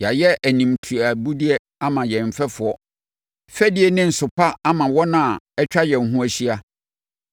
Yɛayɛ animtiabudeɛ ama yɛn mfɛfoɔ, fɛdie ne nsopa ama wɔn a atwa yɛn ho ahyia.